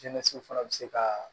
Jɛnɛso fana bɛ se ka